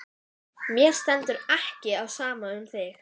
Mér stendur ekki á sama um þig.